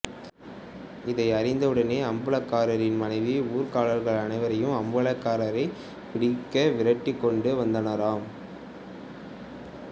இதை அறிந்த உடனே அம்பலகாரரின் மனைவி ஊர்க்காரர்கள் அனைவரும் அம்பலக்காரரை பிடிக்க விரட்டிக்கொண்டு வந்தனராம்